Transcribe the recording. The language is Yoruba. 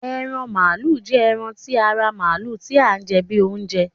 Eran malu jẹ ẹran ti ara Maalu ti a jẹ bi ounjẹ